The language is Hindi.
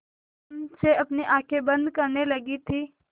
तम से अपनी आँखें बंद करने लगी थी